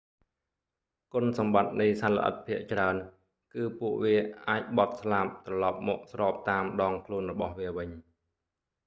គុណសម្បត្តិនៃសត្វល្អិតភាគច្រើនគឺ ពួកវាអាចបត់ស្លាបត្រឡប់មកស្របតាមដងខ្លួនរបស់វាវិញ